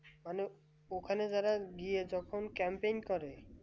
মানে ওখানে যারা গিয়ে যখন camping করে